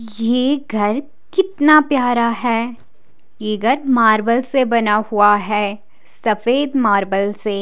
यह घर कितना प्यारा है यह घर मार्बल से बना हुआ है सफेद मार्बल से--